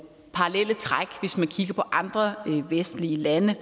parallelle træk hvis man kigger på andre vestlige lande